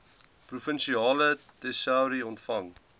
provinsiale tesourie ontvang